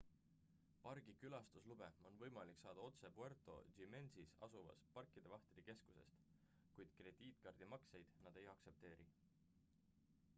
pargi külastuslube on võimalik saada otse puerto jiménezis asuvast pargivahtide keskusest kuid krediitkaardimakseid nad ei aktsepteeri